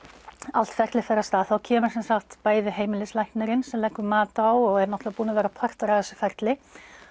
allt ferlið fer af stað þá kemur sem sagt bæði heimilislæknirinn sem leggur mat á og er náttúrulega búinn að vera partur af þessu ferli